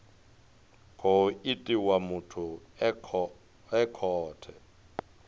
khou itiwa muthu e khaho